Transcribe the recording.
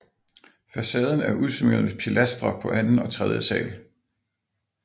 Facaden er udsmykket med pilastre på anden og tredje sal